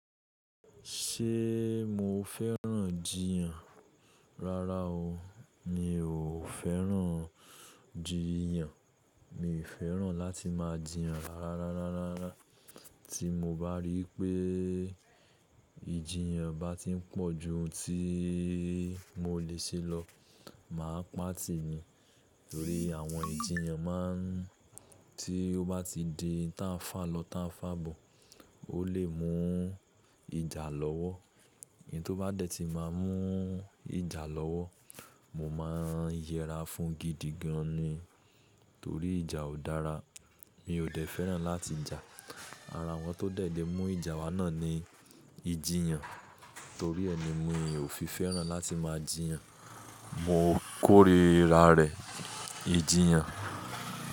Ṣé mo fẹ́ràn jiyàn? Rárá o, mi ò fẹ́ràn jiyàn. Mi ò fẹ́ràn láti máa jiyàn rárá, rárá, rárá. Tí mó bá rí pé ìjiyàn bá ti ń pọ̀ jú ohún tí mo le ṣe lọ, màá pàtì ni. Torí àwọn ìjiyàn má ń tí ó bá ti di tánfálọ́ tánfábò, ó lè mú ìjà lọ́wọ́. Ẹni tó bá dẹ̀ tí máa mú ìjà lọ́wọ́, mo máa yẹra fún gídií gàn ni. Toórí ìjà ò dára. Mi ò dẹ̀ fẹ́ràn láti jà. Árá wọn tó dẹ̀ dé mú ìjà wa náà ni ìjiyàn. Torí ẹ ni mi ò fi fẹ́ràn láti máa jiyàn. Mó kórìíra rẹ̀ ìjiyàn.